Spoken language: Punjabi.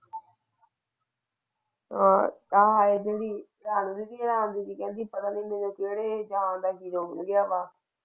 ਪਤਾ ਨਹੀਂ ਮੇਰੇ ਕਿਹੜੇ ਹੈ।